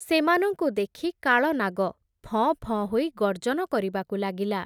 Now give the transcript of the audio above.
ସେମାନଙ୍କୁ ଦେଖି କାଳନାଗ, ଫଁ ଫଁ ହୋଇ ଗର୍ଜନ କରିବାକୁ ଲାଗିଲା ।